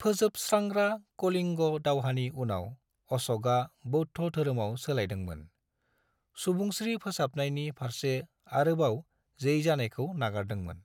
फोजोबस्रांग्रा कलिंग दावहानि उनाव अश'कआ बौद्ध धोरोमाव सोलायदोंमोन, सुबुंस्रि फोसाबनायनि फारसे आरोबाव जै जानायखौ नागारदोंमोन।